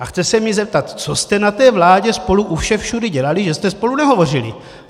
A chce se mě zeptat, co jste na té vládě spolu u všech všudy dělaly, že jste spolu nehovořily?